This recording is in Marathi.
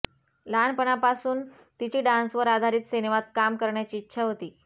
लहापणापासून तिची डान्सवर आधारीत सिनेमात काम करण्याची इच्छा होती